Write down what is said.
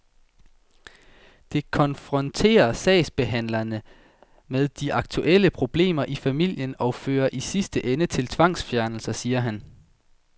Det konfronterer sagsbehandlerne med de aktuelle problemer i familien og fører i sidste ende til tvangsfjernelse, siger han.